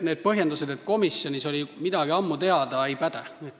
Need põhjendused, et komisjonis oli midagi ammu teada, ei päde.